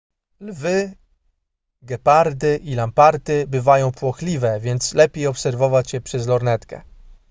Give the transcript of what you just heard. lwy gepardy i lamparty bywają płochliwe więc lepiej obserwować je przez lornetkę